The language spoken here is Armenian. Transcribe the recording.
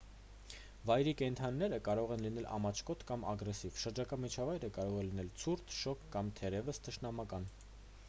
վայրի կենդանիները կարող են լինել ամաչկոտ կամ ագրեսիվ շրջակա միջավայրը կարող է լինել ցուրտ շոգ կամ թերևս թշնամական